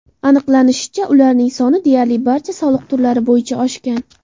Aniqlanishicha, ularning soni deyarli barcha soliq turlari bo‘yicha oshgan.